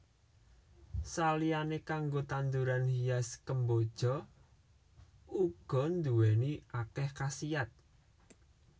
Saliyané kanggo tanduran hias kemboja uga nduwèni akèh khasiyat